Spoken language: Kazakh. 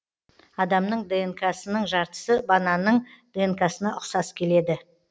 адамның днк сының жартысы бананның днк сына ұқсас келеді